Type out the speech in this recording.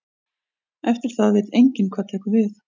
Eftir það veit enginn hvað tekur við.